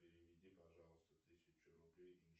переведи пожалуйста тысячу рублей